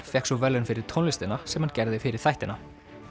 fékk svo verðlaun fyrir tónlistina sem hann gerði fyrir þættina